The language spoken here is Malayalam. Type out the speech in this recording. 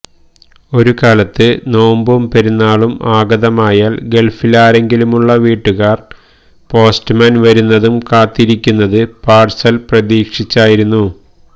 ഒരു കാലത്ത് നോമ്പും പെരുന്നാളും ആഗതമായാല് ഗള്ഫിലാരെങ്കിലുമുള്ള വീട്ടുകാര് പോസ്റ്റ്മാന് വരുന്നതും കാത്തിരുന്നത് പാര്സല് പ്രതീക്ഷിച്ചായിരുന്നു